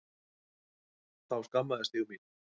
Þá skammaðist ég mín.